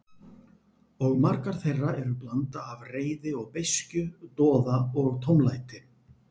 Og margar þeirra eru blanda af reiði og beiskju, doða og tómlæti.